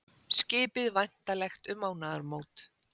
Skipið væntanlegt um mánaðamót